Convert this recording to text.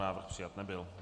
Návrh přijat nebyl.